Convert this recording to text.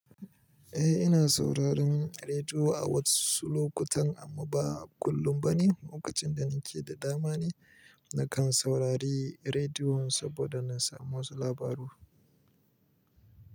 Eh ina sauraren rediyo a wasu lokutan amma ba kullum ba ne. Lokacin da nake da dama ne nakan saurari rediyon saboda na samu wasu labaru.